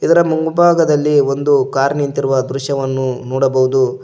ಅದರ ಮುಂಭಾಗದಲ್ಲಿ ಒಂದು ಕಾರ್ ನಿಂತಿರುವ ದೃಶ್ಯವನ್ನು ನೋಡಬಹುದು.